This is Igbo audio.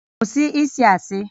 Kwụsị ịsị asị!